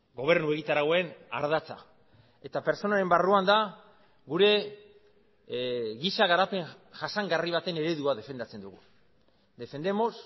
gobernu egitarauen ardatza eta pertsonaren barruan da gure giza garapen jasangarri baten eredua defendatzen dugu defendemos